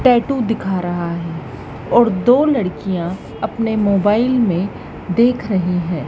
Tattoo दिखा रहा है और दो लड़कियाँ अपने मोबाइल में देख रहीं हैं।